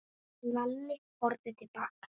Lalli horfði til baka.